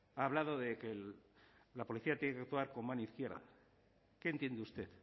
ha hablado de que la policía tiene que actuar con mano izquierda qué entiende usted